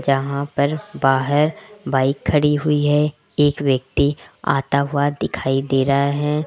यहां पर बाहर बाइक खड़ी हुई है एक व्यक्ति आता हुआ दिखाई दे रहा है।